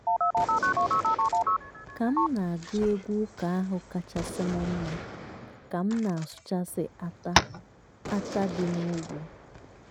ka afo iri abụọ gachara ngwaọrụ nna m ka na-arụ ọrụ nke ọma.